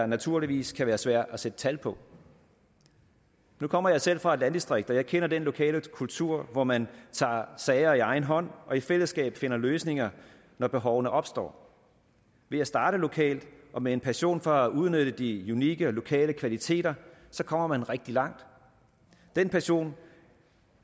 naturligvis kan være svært at sætte tal på nu kommer jeg selv fra et landdistrikt og jeg kender den lokale kultur hvor man tager sager i egen hånd og i fællesskab finder løsninger når behovene opstår ved at starte lokalt og med en passion for at udnytte de unikke og lokale kvaliteter kommer man rigtig langt den passion